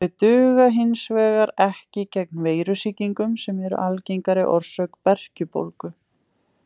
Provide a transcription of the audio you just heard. Þau duga hins vegar ekki gegn veirusýkingum sem eru algengari orsök berkjubólgu.